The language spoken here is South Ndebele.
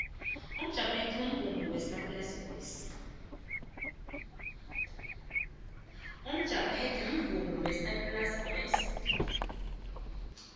umjabethe mvumo wesaplasi boys